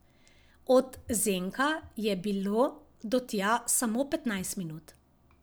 Od Zenka je bilo do tja samo petnajst minut.